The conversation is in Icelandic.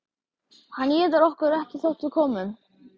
Hann étur okkur ekki þótt við komum.